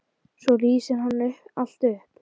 Svo lýsir hann allt upp.